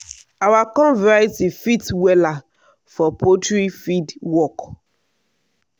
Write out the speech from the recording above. our corn variety fit wella for poultry feed work.